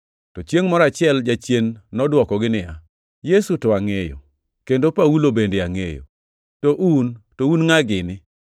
To chiengʼ moro achiel jachien nodwokogi niya, “Yesu to angʼeyo, kendo Paulo bende angʼeyo, to un, to un ngʼa gini?”